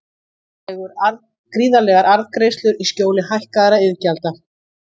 Gríðarlegar arðgreiðslur í skjóli hækkaðra iðgjalda